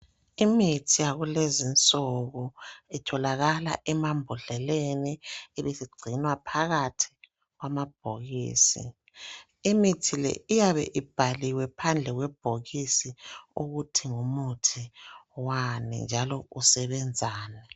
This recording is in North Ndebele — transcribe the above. Imithi yakulezinsuku itholakala emambodleleni igcinwa phakathi kwamabhokisi. Imithi le iyabe ibhaliwe phandle kwamabhokisi ukuthi ngumuthi wani njalo usebenzani.